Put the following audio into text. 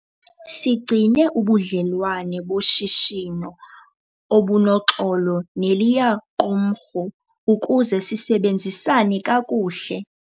Sigcine ubudlelwane boshishino obunoxolo neliya qumrhu ukuze sisebenzisane kakuhle.